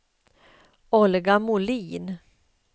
Olga Molin